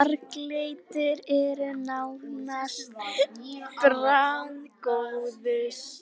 Körfuboltamaðurinn Björn Steinar Brynjólfsson var sömuleiðis á miðjunni og leysti miðvarðarstöðuna sömuleiðis.